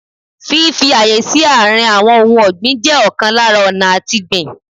Fífi ààyè sí àárín àwọn ohun ọ̀gbìn jẹ́ ọ̀kan lára ọ̀nà àtigbìn